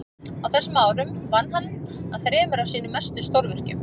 á þessum árum vann hann að þremur af sínum mestu stórvirkjum